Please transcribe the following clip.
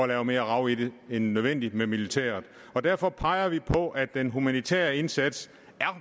lave mere rav i det end nødvendigt med militæret derfor peger vi på at den humanitære indsats